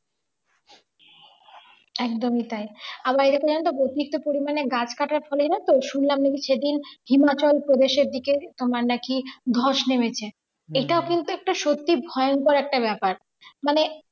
একদমই তাই আবার এরকম জানো তো বৈশিষ্ট্য পরিমাণে গাছ কাটার ফলে, জানো তো শুনলাম নাকি সেদিন হিমাচল প্রদেশের দিকে তোমার নাকি ধস নেমেছে এটাও কিন্তু একটা সত্যি ভয়ংকর একটা ব্যাপার মানে